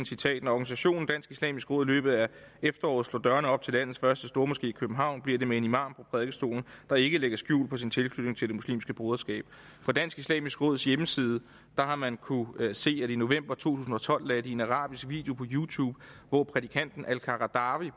citerer når organisationen dansk islamisk råd i løbet af efteråret slår dørene op til landets første store moské i københavn bliver det med en imam på prædikestolen der ikke lægger skjul på sin tilknytning til det muslimske broderskab på dansk islamisk råds hjemmeside har man kunnet se at de i november to tusind og tolv lagde en arabisk video på youtube hvor prædikanten al qaradawi